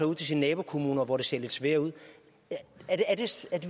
ud til de nabokommuner hvor det ser lidt svært ud